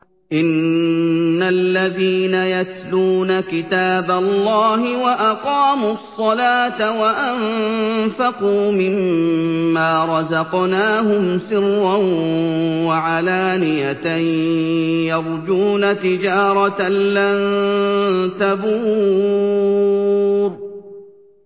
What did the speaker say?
إِنَّ الَّذِينَ يَتْلُونَ كِتَابَ اللَّهِ وَأَقَامُوا الصَّلَاةَ وَأَنفَقُوا مِمَّا رَزَقْنَاهُمْ سِرًّا وَعَلَانِيَةً يَرْجُونَ تِجَارَةً لَّن تَبُورَ